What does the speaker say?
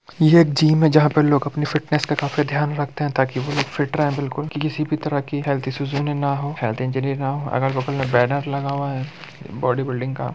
ये एक गयम है जहा पे लोग अपनी फिटनेस का काफी देहं ध्यान रखते हैं ता क ताकि वो लोग फिट रहें बिलकुल किसी भी तरह की हेल्थ इश्यूज उन्हें न हों स्वास्थ्य हेल्थ चोट इंजरी ना हो अगल बगल मुख्य में बैनर लगा हुआ है बॉडी बिल्डिंग का ।